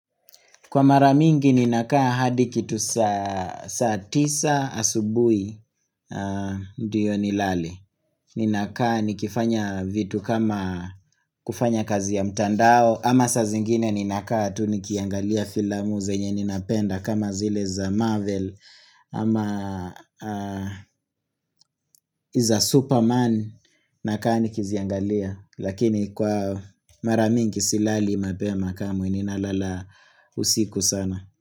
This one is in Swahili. Kwa maramingi ninakaa hadi kitu saa tisa asubuhi ndiyo nilale. Ninakaa nikifanya vitu kama kufanya kazi ya mtandao. Ama saa zingine ninakaa tunikiangalia filamu zenye ninapenda kama zile za Marvel. Ama za Superman nakaa nikiziangalia. Lakini kwa maramingi silali mapema kama ninalala usiku sana.